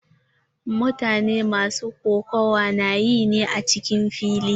Mutane masu kokawa na yi ne a cikin fili.